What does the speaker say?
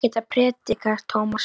Ég er ekkert að predika, Tómas.